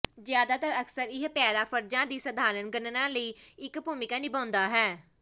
ਜ਼ਿਆਦਾਤਰ ਅਕਸਰ ਇਹ ਪੈਰਾ ਫਰਜ਼ਾਂ ਦੀ ਸਧਾਰਨ ਗਣਨਾ ਲਈ ਇੱਕ ਭੂਮਿਕਾ ਨਿਭਾਉਂਦਾ ਹੈ